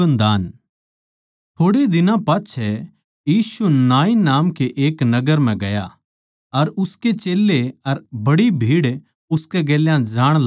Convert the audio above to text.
थोड़े दिनां पाच्छै यीशु नाईन नाम के एक नगर म्ह गया अर उसके चेल्लें अर बड्डी भीड़ उसकै गेल्या जाण लागरी थी